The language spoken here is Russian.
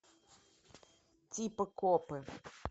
типа копы